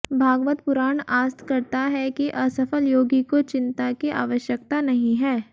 भागवत पुराण आस्त करता है कि असफल योगी को चिन्ता की आवश्यकता नहीं है